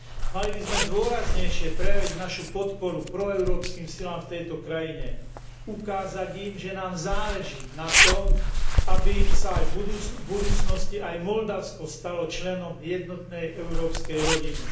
Mali by sme dôraznejšie prejaviť našu podporu proeurópskym silám v tejto krajine, ukázať im, že nám záleží na tom, aby sa v budúcnosti aj Moldavsko stalo členom jednotnej európskej rodiny.